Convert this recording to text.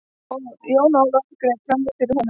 Jón Ólafur greip framí fyrir honum.